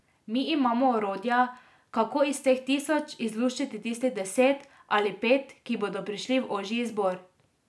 Mi imamo orodja, kako iz teh tisoč izluščiti tistih deset ali pet, ki bodo prišli v ožji izbor.